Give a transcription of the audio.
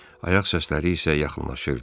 Ayaq səsləri isə yaxınlaşırdı.